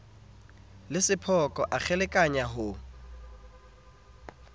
le sephoko a kgelekenya ho